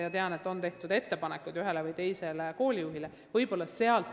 Ma tean, et ühele või teisele koolijuhile on ettepanekuid tehtud.